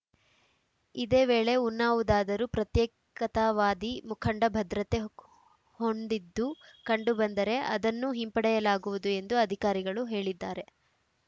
ಇದೇ ವೇಳೆ ಉನ್ನಾವುದಾದರೂ ಪ್ರತ್ಯೇಕತಾವಾದಿ ಮುಖಂಡ ಭದ್ರತೆ ಹೊಂಡಿದ್ದು ಕಂಡುಬಂದರೆ ಅದನ್ನೂ ಹಿಂಪಡೆಯಲಾಗುವುದು ಎಂದು ಅಧಿಕಾರಿಗಳು ಹೇಳಿದ್ದಾರೆ